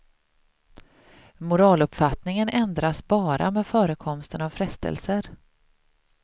Moraluppfattningen ändras bara med förekomsten av frestelser.